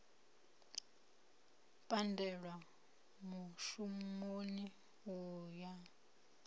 u pandelwa mushumoni u ya